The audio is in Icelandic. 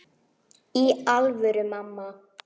Í alvöru, mamma.